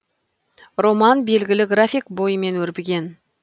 роман белгілі график бойымен өрбіген